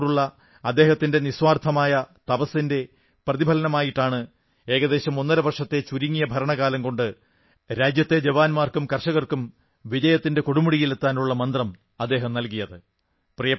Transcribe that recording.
രാഷ്ട്രത്തോടുള്ള അദ്ദേഹത്തിന്റെ നിസ്വാർഥമായ തപസ്സിന്റെ പ്രതിഫലമായിട്ടാണ് ഏകദേശം ഒന്നര വർഷത്തെ ചുരുങ്ങിയ ഭരണകാലം കൊണ്ട് രാജ്യത്തെ ജവാന്മാർക്കും കർഷകർക്കും വിജയത്തിന്റെ കൊടുമുടിയിൽ എത്താനുള്ള മന്ത്രം അദ്ദേഹം നല്കിയത്